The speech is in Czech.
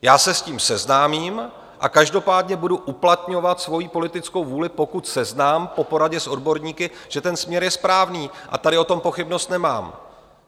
Já se s tím seznámím a každopádně budu uplatňovat svoji politickou vůli, pokud seznám po poradě s odborníky, že ten směr je správný, a tady o tom pochybnost nemám.